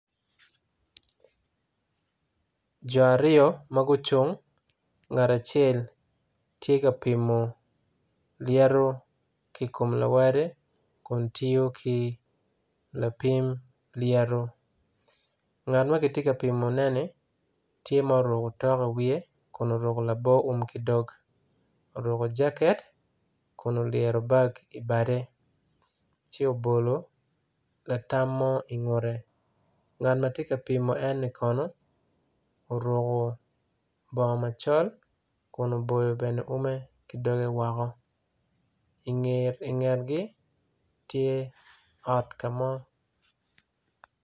Jo aryo magucung ngat acel tye ka pimo lyeto ikom lawote kun tiyo ki lapim lyeto ngat makitye kapimone ni tye ma oruko tok iwiye kun oruko labor wum kidog oruko jacket kun olyeto bag i bade co obolo latam mo ingute ngat matye ka pimo eni kono oruko bongo macol kin oboyo bene wume kidoge woko ingetgi tye ot kamo.